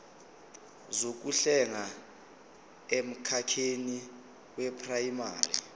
zokuhlenga emkhakheni weprayimari